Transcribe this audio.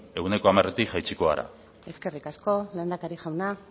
ehuneko hamaretik jaitsiko gara eskerrik asko lehendakari jauna